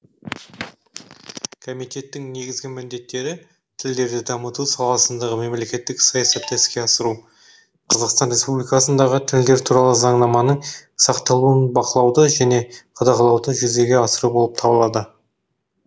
комитеттің негізгі міндеттері тілдерді дамыту саласындағы мемлекеттік саясатты іске асыру қазақстан республикасындағы тілдер туралы заңнаманың сақталуын бақылауды және қадағалауды жүзеге асыру болып табылады